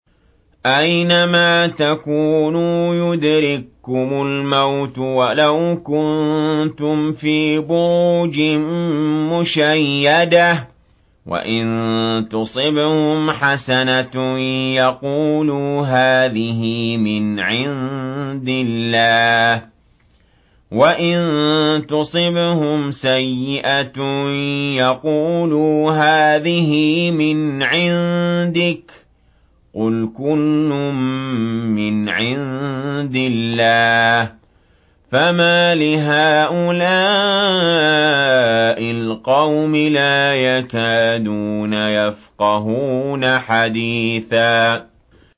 أَيْنَمَا تَكُونُوا يُدْرِككُّمُ الْمَوْتُ وَلَوْ كُنتُمْ فِي بُرُوجٍ مُّشَيَّدَةٍ ۗ وَإِن تُصِبْهُمْ حَسَنَةٌ يَقُولُوا هَٰذِهِ مِنْ عِندِ اللَّهِ ۖ وَإِن تُصِبْهُمْ سَيِّئَةٌ يَقُولُوا هَٰذِهِ مِنْ عِندِكَ ۚ قُلْ كُلٌّ مِّنْ عِندِ اللَّهِ ۖ فَمَالِ هَٰؤُلَاءِ الْقَوْمِ لَا يَكَادُونَ يَفْقَهُونَ حَدِيثًا